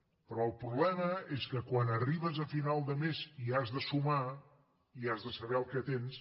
però el problema és que quan arribes a final de mes i has de sumar i has de saber el que tens